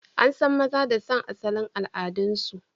An san maza da son asalin al'adunsu